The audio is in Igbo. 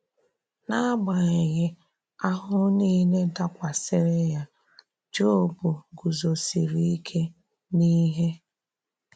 N’agbàghị àhụhụ niile dákwasịrị ya, Jọb gùzòsìrì íké n’íhè.